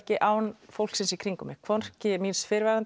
án fólksins í kringum mig hvorki míns fyrrverandi